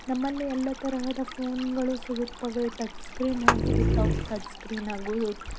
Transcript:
ನಮ್ಮಲಿ ಎಲ್ಲಾ ತರಹದ ಫೋನ್ಗಳು ಸಿಗುತ್ತವೆ ಟಚ್ ಸ್ಕ್ರೀನ್ ಹಾಗು ವಿಥೌಟ್ ಟಚ್ಸ್ಕ್ರೀನ್ ಹಾಗೂ.